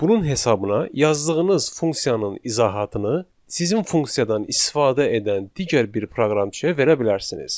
Bunun hesabına yazdığınız funksiyanın izahatını sizin funksiyadan istifadə edən digər bir proqramçıya verə bilərsiniz.